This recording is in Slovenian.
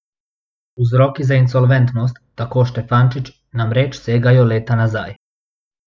Vzroki za insolventnost, tako Štefančič, namreč segajo leta nazaj.